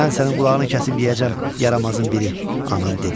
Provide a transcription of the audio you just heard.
Mən sənin qulağını kəsib yeyəcəm yaramazın biri, anam dedi.